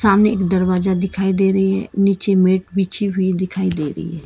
सामने दरवाजा दिखाई दे रही है नीचे मैट बिछी हुई दिखाई दे रही--